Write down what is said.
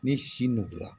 Ni si nugula